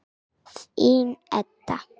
Þín, Edda.